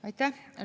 Aitäh!